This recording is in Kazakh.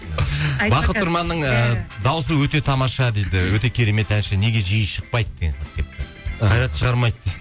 бақыт тұрманның ііі дауысы өте тамаша дейді өте керемет әнші неге жиі шықпайды қайрат шығармайды